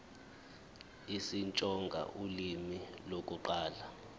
isitsonga ulimi lokuqala